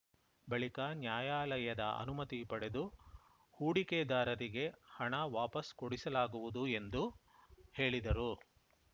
ಬಳಿಕ ನ್ಯಾಯಾಲಯದ ಅನುಮತಿ ಪಡೆದು ಹೂಡಿಕೆದಾರರಿಗೆ ಹಣ ವಾಪಸ್‌ ಕೊಡಿಸಲಾಗುವುದು ಎಂದು ಹೇಳಿದರು